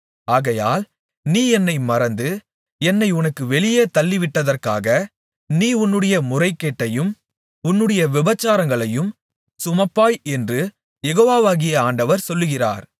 ஆகையால் நீ என்னை மறந்து என்னை உனக்கு வெளியே தள்ளிவிட்டதற்காக நீ உன்னுடைய முறைகேட்டையும் உன்னுடைய விபசாரங்களையும் சுமப்பாய் என்று யெகோவாகிய ஆண்டவர் சொல்லுகிறார்